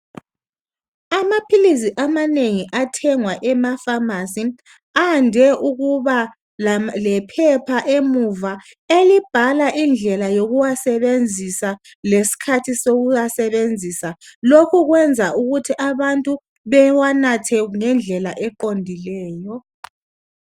amaphilisi amanengi athengwa emaphamarcy ayande ukuba lephepha emuva elibhalwa indlela yokuwasebenzisa lesikhathi sokuwasebenzisa lokhu kwenza ukuthi abantu bewanathe ngendlela eqondileyo